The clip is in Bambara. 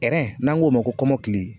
n'an k'o ma ko kɔmɔkili.